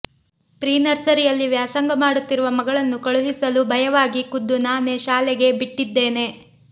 pre ನರ್ಸರಿಯಲ್ಲಿ ವ್ಯಾಸಂಗ ಮಾಡುತ್ತಿರುವ ಮಗಳನ್ನು ಕಳುಹಿಸಲು ಭಯವಾಗಿ ಖುದ್ದು ನಾನೇ ಶಾಲೆಗೆ ಬಿಟ್ಟಿದ್ದೇನೆ